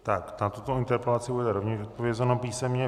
Tak, na tuto interpelaci bude rovněž odpovězeno písemně.